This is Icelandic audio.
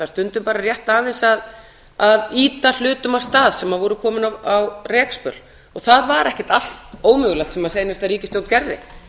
stundum bara rétt aðeins að ýta hlutum af stað sem voru komnir á rekspöl og það var ekkert allt ómögulegt sem seinasta ríkisstjórn gerði